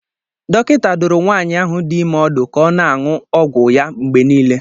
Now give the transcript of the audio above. Dọkịta dụrụ nwaanyị ahụ dị ime ọdụ ka ọ na-aṅụ ọgwụ ya mgbe niile.